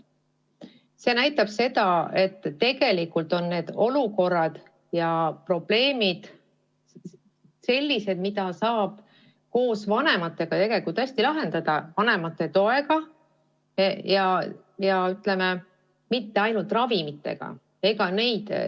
See näitab seda, et tegelikult on need olukorrad ja probleemid sellised, mida saaks hästi koos vanematega lahendada, kasutades vanemate tuge, mitte ainult ravimeid.